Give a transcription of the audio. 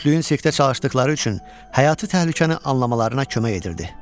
Cütlüyün sirkdə çalışdıqları üçün həyatı təhlükəni anlamalarına kömək edirdi.